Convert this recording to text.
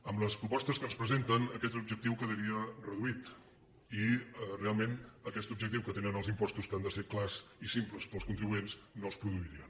amb les propostes que ens presenten aquest objectiu quedaria reduït i realment aquest objectiu que tenen els impostos que han de ser clars i simples per als contribuents no es produiria